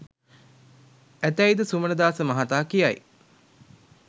ඇතැයිද සුමනදාස මහතා කියයි.